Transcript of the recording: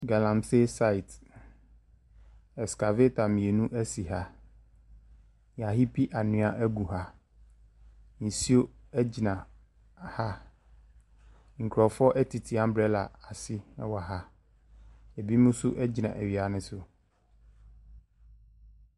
Galamsey site, excavator mmienu si ha. Wɔahiipi anwea agu ha. Nsuo agyina ha a nkurɔfoɔ tete umbrella ase wɔ ha. Binom nso gyina awia no so.